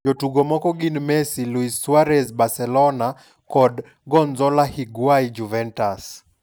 Jotugo moko gin Messi, Lu? Suarez (Barcelona) kod Gonzalo Higua? (Juventus).